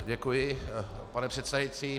Děkuji, pane předsedající.